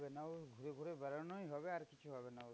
ঘুরে ঘুরে বেড়ানোই হবে, আর কিছু হবে না।